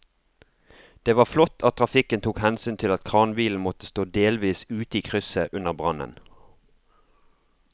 Det var flott at trafikken tok hensyn til at kranbilen måtte stå delvis ute i krysset under brannen.